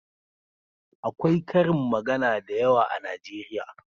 Akwai ƙarin magana da yawa a najeriya